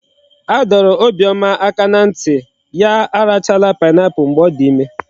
A dọrọ Obioma aka na nti ya arachala pineapple mgbe odi ime